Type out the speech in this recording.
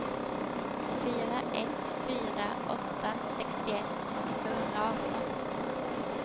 fyra ett fyra åtta sextioett sjuhundraarton